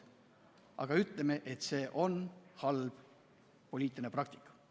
Aga ütleme, et see on halb poliitiline praktika.